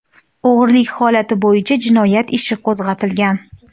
O‘g‘rilik holati bo‘yicha jinoyat ishi qo‘zg‘atilgan.